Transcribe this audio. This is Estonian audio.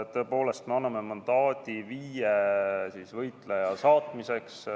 Tõepoolest, me anname mandaadi viie võitleja saatmiseks.